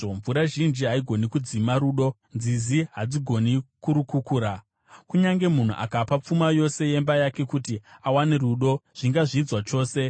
Mvura zhinji haigoni kudzima rudo; nzizi hadzigoni kurukukura. Kunyange munhu akapa pfuma yose yemba yake kuti awane rudo, zvingazvidzwa chose.